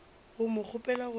go mo kgopela gore a